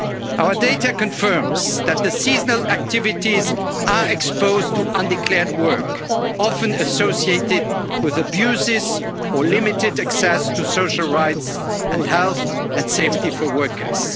its application. Our data confirms that the seasonal activities are exposed to undeclared work, often associated with abuses or limited access to social rights and health and safety